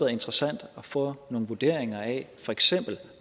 interessant at få nogle vurderinger af for eksempel